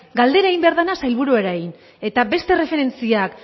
galdera egin behar dena sailburuei eta beste erreferentziak